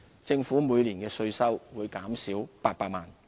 政府每年的稅收會減少800萬元。